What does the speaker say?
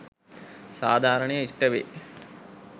සාධාරණය ඉෂ්ටවේ